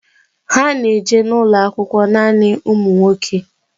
Ha na eje n'ulo akwụkwọ nanị ụmụ nwoke